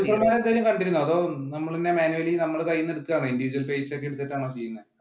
producer മാരെ എന്തേലും കണ്ടിരുന്നോ അതോ നമ്മൾ തന്നെ manually നമ്മള് തന്നെ കയ്യിൽ നിന്ന് എടുത്തിട്ടാണ individual ഒക്കെ എടുത്തിട്ട് ആണോ ചെയ്യുന്നേ